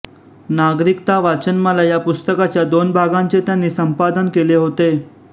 नागरिकता वाचनमाला या पुस्तकाच्या दोन भागांचे त्यांनी संपादन केले होते